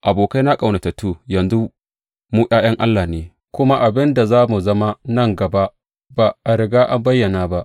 Abokaina ƙaunatattu, yanzu, mu ’ya’yan Allah ne, kuma abin da za mu zama nan gaba ba a riga an bayyana ba.